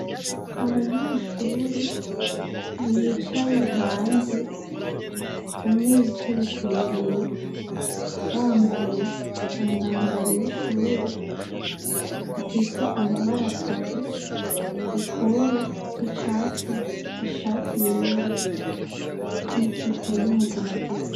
Abanyeshure bicaye hanze, umwe yicaye kw'ibuye, bambaye umwambaro w"ishure ufise amabara atatu: ikoro ry'icatsi, ishati yera n'ijipo y'umuginagina.